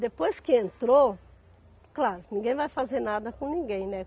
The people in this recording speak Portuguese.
Depois que entrou, claro, ninguém vai fazer nada com ninguém, né?